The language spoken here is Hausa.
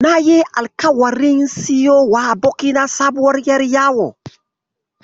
Nayi alƙawarin siyo wa abokina sabuwar ƴar yawo.